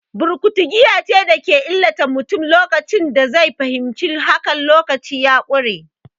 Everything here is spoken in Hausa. Burkutu giya ce da ke illata mutum, lokacin da zai fahimci haka, lokaci ya ƙure.